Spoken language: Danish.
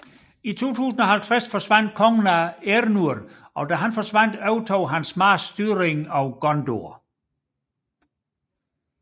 I 2050 forsvandt kongen Eärnur og da han forsvandt overtog hans marsk styringen af Gondor